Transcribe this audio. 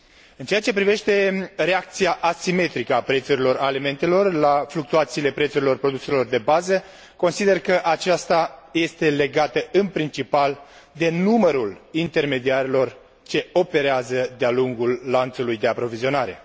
În ceea ce privește reacția asimetrică a prețurilor alimentelor la fluctuațiile prețurilor produselor de bază, consider că aceasta este legată în principal de numărul intermediarilor ce operează de a lungul lanțului de aprovizionare.